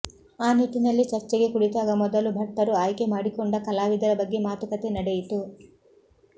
ಆ ನಿಟ್ಟಿನಲ್ಲಿ ಚರ್ಚೆಗೆ ಕುಳಿತಾಗ ಮೊದಲು ಭಟ್ಟರು ಆಯ್ಕೆ ಮಾಡಿಕೊಂಡ ಕಲಾವಿದರ ಬಗ್ಗೆ ಮಾತುಕತೆ ನಡೆಯಿತು